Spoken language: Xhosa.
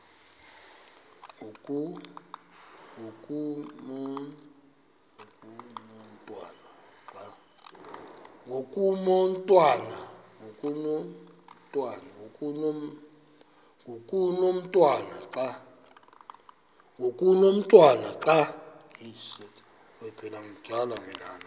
ngoku umotwana xa